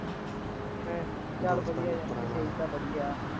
ਹਾਂ, ਚੱਲ ਵਧੀਆ ਯਾਰ ਤੇਰੀ ਤਾਂ ਵਧੀਆ